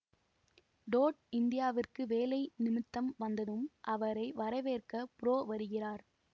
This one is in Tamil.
டோட் இந்தியாவிற்கு வேலை நிமித்தம் வந்ததும் அவரை வரவேற்க புரோ வருகிறார்